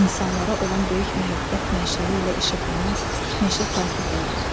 İnsanlara olan böyük məhəbbət mənşəli ilə işıqlanan meşə sakit oldu.